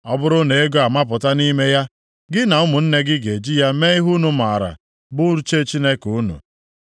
Ọ bụrụ na ego amapụta nʼime ya, gị na ụmụnne gị ga-eji ya mee ihe unu maara bụ uche Chineke unu.